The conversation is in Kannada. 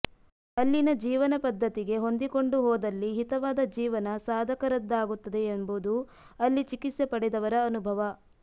ಅಲ್ಲಿನ ಜೀವನ ಪದ್ಧತಿಗೆ ಹೊಂದಿಕೊಂಡು ಹೋದಲ್ಲಿ ಹಿತವಾದ ಜೀವನ ಸಾಧಕರದ್ದಾಗುತ್ತದೆ ಎಂಬುದು ಅಲ್ಲಿ ಚಿಕಿತ್ಸೆ ಪಡೆದವರ ಅನುಭವ